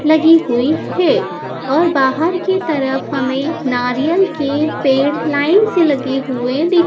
लगी हुई है और बाहर की तरफ हमें नारियल के पेड़ लाइन से लगे हुए दिख--